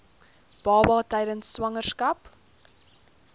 baba tydens swangerskap